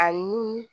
Ani